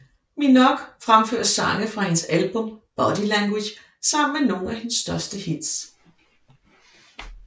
Minogue fremfører sange fra hendes album Body Language sammen med nogle af hendes største hits